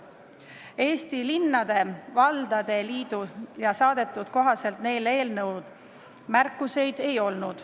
Eesti Linnade ja Valdade Liidu saadetud vastuse kohaselt neil eelnõu kohta märkusi ei ole.